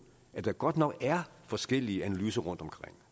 at der godt nok er forskellige analyser rundtomkring